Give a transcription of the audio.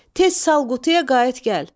Tez sal qutuya qayıt gəl.